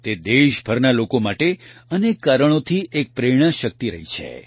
તે દેશભરના લોકો માટે અનેક કારણોથી એક પ્રેરણાશક્તિ રહી છે